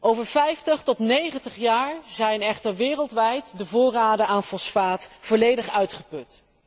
Over 50 tot 90 jaar zijn echter wereldwijd de voorraden aan fosfaat volledig uitgeput.